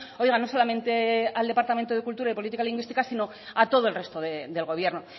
oiga no solamente al departamento de cultura y política lingüística sino a todo el resto del gobierno